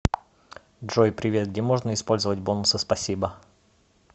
джой привет где можно использовать бонусы спасибо